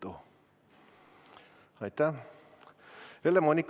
Helle-Moonika Helme, palun!